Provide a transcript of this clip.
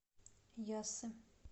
яссы